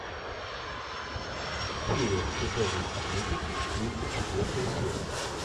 фея тяжелой атлетики тридцать четвертая серия